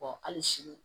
hali sini